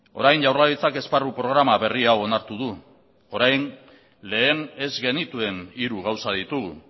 orain jaurlaritzak esparru programa berri hau onartu du orain lehen ez genituen hiru gauza ditugu